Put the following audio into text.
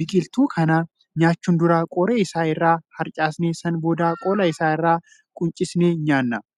Biqiltuu kana nyaachuun dura qoree Isaa irraa harcaasnee sana booda qola Isaa irraa quncisnee nyaanna.